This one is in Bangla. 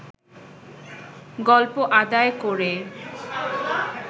গল্প আদায় করে